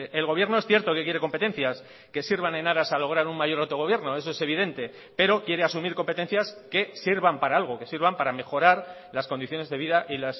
el gobierno es cierto que quiere competencias que sirvan en aras a lograr un mayor autogobierno eso es evidente pero quiere asumir competencias que sirvan para algo que sirvan para mejorar las condiciones de vida y